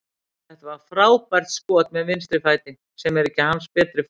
Þetta var frábært skot með vinstri fæti, sem er ekki hans betri fótur.